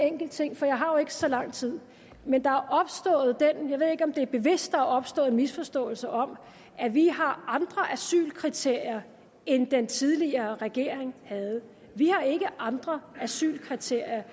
enkelt ting for jeg har jo ikke så lang tid jeg ved ikke om det er bevidst men der er opstået en misforståelse om at vi har andre asylkriterier end den tidligere regering havde vi har ikke andre asylkriterier